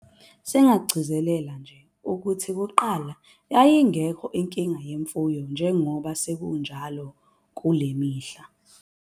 Singagcizelela nje ukuthi kuqala yayingekho inkinga yemfuyo njengoba sekunjalo kule mihla.